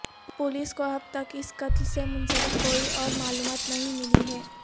police کو اب تک اس قتل سے منسلک کوئی اور معلومات نہیں ملی ہے